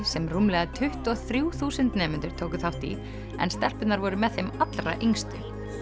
sem rúmlega tuttugu og þrjú þúsund nemendur tóku þátt í en stelpurnar voru með þeim allra yngstu